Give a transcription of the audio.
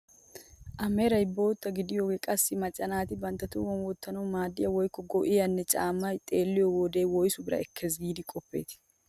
A meray bootta gididoogee qassi macca naati bantta tohuwaan wottanawu maaddiyaa woykko go"iyaa caammay xeelliyoo wode woysu biraa ekkes giidi qoppetii?